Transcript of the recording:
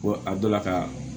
Ko a dɔ la ka